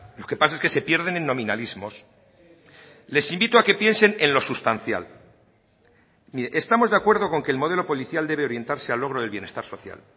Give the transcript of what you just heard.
lo que pasa es que se pierden en nominalismos les invito a que piensen en lo sustancial mire estamos de acuerdo con que el modelo policial debe orientarse al logro del bienestar social